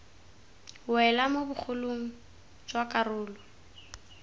wela mo bogolong jwa karolo